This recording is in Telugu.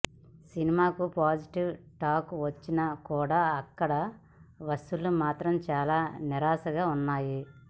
సినిమాకు పాజిటివ్ టాక్ వచ్చినా కూడా అక్కడ వసూళ్లు మాత్రం చాలా నీరసంగా ఉన్నాయి